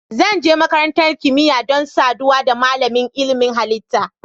Zan je makarantar kimiyya don saduwa da malamin ilimin halitta.